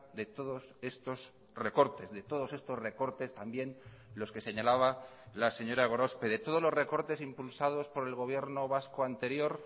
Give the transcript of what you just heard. de todos estos recortes de todos estos recortes también los que señalaba la señora gorospe de todos los recortes impulsados por el gobierno vasco anterior